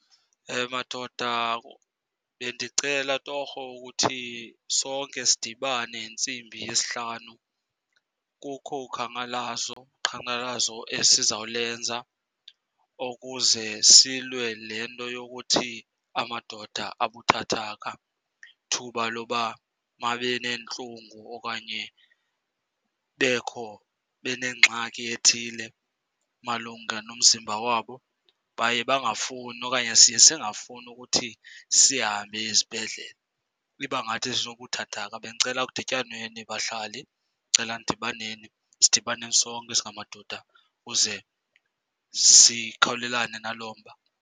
Madoda, bendicela torho ukuthi sonke sidibane ngentsimbi yesihlanu, kukho ukhankalazo, uqhankqalazo esizawulenza ukuze silwe le nto yokuthi amadoda abuthathaka ithuba loba nabe neentlungu okanye kubekho, benengxaki ethile malunga nomzimba wabo, baye bangafuni okanye siye singafuni ukuthi sihambe izibhedlele. Iba ngathi sinobuthathaka. Bendicela kudityanweni, bahlali, ndicela nidibaneni, sidibane sonke singamadoda kuze sikhawulelane naloo mba.